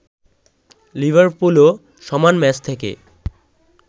লিভারপুলও সমান ম্যাচ থেকে